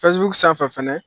Facebook sanfɛ fɛnɛ